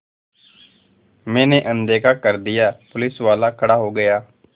मैंने अनदेखा कर दिया पुलिसवाला खड़ा हो गया